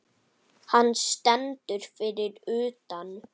Hann stendur fyrir utan.